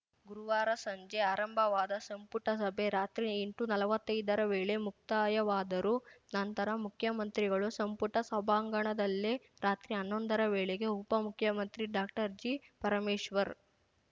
ಗುರುವಾರ ಸಂಜೆ ಆರಂಭವಾದ ಸಂಪುಟ ಸಭೆ ರಾತ್ರಿ ಎಂಟುನಲ್ವತ್ತೈದರ ವೇಳೆ ಮುಕ್ತಾಯವಾದರೂ ನಂತರ ಮುಖ್ಯಮಂತ್ರಿಗಳು ಸಂಪುಟ ಸಭಾಂಗಣದಲ್ಲೇ ರಾತ್ರಿ ಹನ್ನೊಂದರ ವೇಳೆಗೆ ಉಪಮುಖ್ಯಮಂತ್ರಿ ಡಾಕ್ಟರ್ಜಿಪರಮೇಶ್ವರ್‌